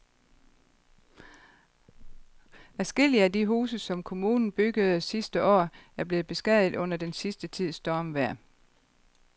Adskillige af de huse, som kommunen byggede sidste år, er blevet beskadiget under den sidste tids stormvejr.